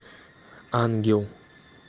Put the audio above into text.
ангел